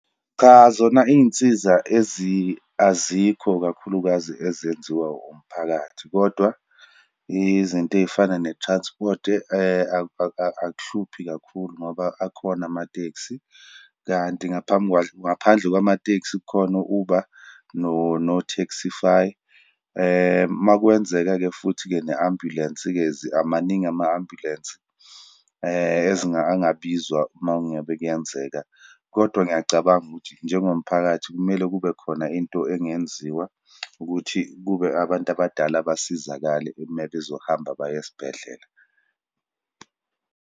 Cha, zona iyinsiza azikho kakhulukazi ezenziwa umphakathi, kodwa izinto eyifana ne-transport akuhluphi kakhulu, ngoba akhona amatekisi, kanti ngaphambi, ngaphandle kwamatekisi khona Uber, no-Taxify. Uma kwenzeka-ke futhi-ke ne-ambulensi-ke amaningi ama-ambulensi angabizwa, uma ngabe kuyenzeka. Kodwa ngiyacabanga ukuthi, njengomphakathi kumele kube khona into engenziwa ukuthi kube abantu abadala basizakale mebezohamba baye esibhedlela.